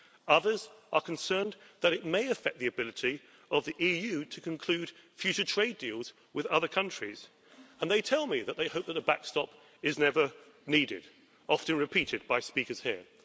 Others are concerned that it may affect the ability of the EU to conclude future trade deals with other countries, and they tell me that they hope that a backstop is never needed a sentiment often repeated by speakers here.